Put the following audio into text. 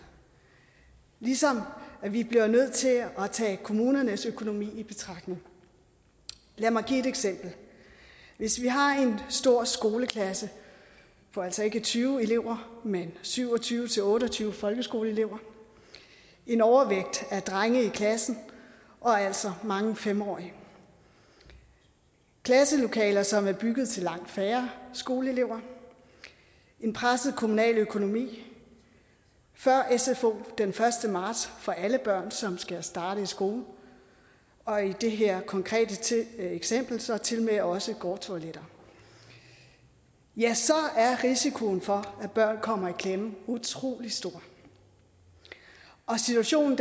ligesom vi bliver nødt til at tage kommunernes økonomi i betragtning lad mig give et eksempel hvis vi har en stor skoleklasse for altså ikke tyve elever men syv og tyve til otte og tyve folkeskoleelever en overvægt af drenge i klassen og altså mange fem årige klasselokaler som er bygget til langt færre skoleelever en presset kommunal økonomi før sfo den første marts for alle børn som skal starte i skolen og i det her konkrete eksempel så tilmed også gårdtoiletter ja så er risikoen for at børn kommer i klemme utrolig stor og situationen